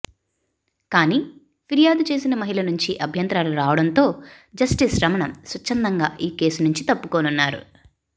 కానీ ఫిర్యాదు చేసిన మహిళ నుంచి అభ్యంతరాలు రావడంతో జస్టిస్ రమణ స్వచ్ఛందంగా ఈ కేసు నుంచి తప్పుకొన్నారు